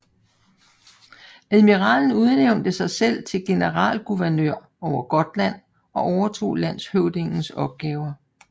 Admiralen udnævnte sig selv til generalguvernør over Gotland og overtog landshøvdingens opgaver